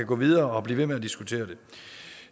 gå videre og blive ved med at diskutere det